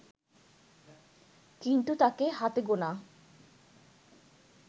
কিন্তু তাঁকে হাতে গোনা